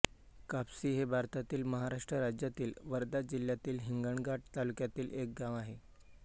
कापसी हे भारतातील महाराष्ट्र राज्यातील वर्धा जिल्ह्यातील हिंगणघाट तालुक्यातील एक गाव आहे